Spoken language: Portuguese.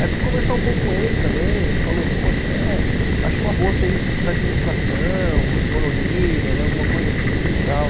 Aí eu fui conversar um pouco com ele também, ele falou, poxa, é, acho uma boa você ir para administração, economia, né, alguma coisa assim e tal.